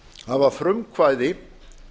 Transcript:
hafa frumkvæði